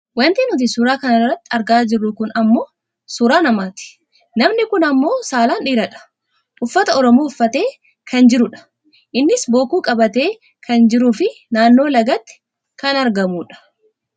Wanti nuti suuraa kana irratti argaa jirru kun ammoo suuraa namati. Namni kun ammoo saalaan dhiiradha. Uffata oromoo uffatee kan jirudha. Innis bokkuu qabatee kan jiruu fi naannoo lagaatti kan argamudha.